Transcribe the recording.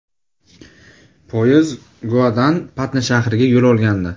Poyezd Goadan Patna shahriga yo‘l olgandi.